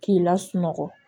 K'i lasunɔgɔ